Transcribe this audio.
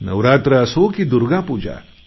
नवरात्र असो की दुर्गापूजा